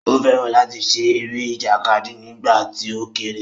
Ó fẹ́ràn láti ṣe eré ìjàkadì nígbà tí ó kéré